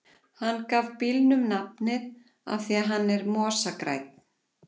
Hann gaf bílnum nafnið af því að hann er mosagrænn.